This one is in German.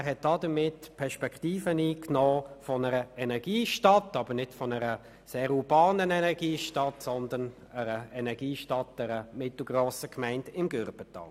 Er hat die Perspektive einer Energiestadt eingenommen und zwar nicht von einer sehr urbanen Energiestadt, sondern von einer mittelgrossen Gemeinde im Aaretal.